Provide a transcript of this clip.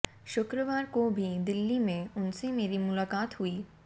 शुक्रवार को भी दिल्ली में उनसे मेरी मुलाकात हुई